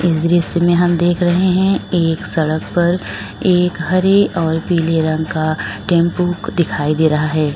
इस दृश्य में हम देख रहे हैं एक सड़क पर एक हरे और पीले रंग का टेंपो दिखाई दे रहा है।